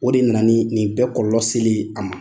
O de nana ni nin bɛɛ kɔlɔlɔ seli ye a ma.